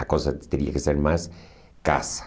A coisa teria que ser mais casa.